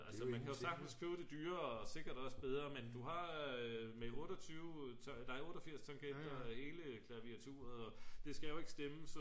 altså man kan sagtens købe det dyrere og sikkert også bedre men du har med 88 tangenter og hele klaviarturet og det skal jo ikke stemmes så